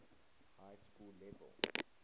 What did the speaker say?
high school level